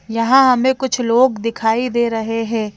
यहां हमें कुछ लोग दिखाई दे रहे है।